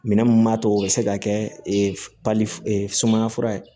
Minɛn mun b'a to o bɛ se ka kɛ sumaya fura ye